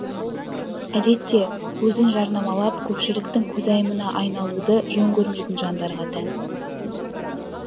әдетте өзін жарнамалап көпшіліктің көзайымына айналуды жөн көрмейтін жандарға тән